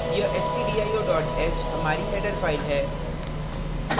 यह stdio h हमारी header file है